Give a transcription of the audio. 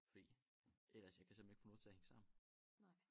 Fordi ellers jeg kan simpelthen ikke få noget til at hænge sammen